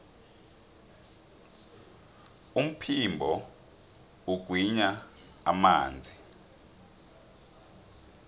umphimbo ugwinya amanzi